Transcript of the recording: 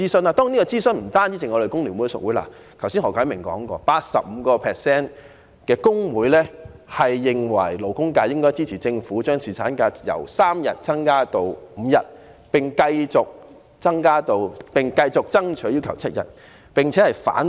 當然，我們有諮詢工聯會屬會，正如何啟明議員剛才提到，有 85% 的工會認為勞工界應該接納政府把侍產假由3天增至5天的建議，並繼續爭取7天侍產假。